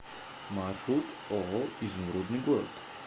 маршрут ооо изумрудный город